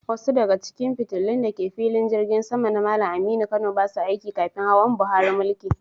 Wasu daga cikin fitilun da ke filin Jirgin Sama na Malam Aminu Kano ba sa aiki kafin hawan Buhari mulki.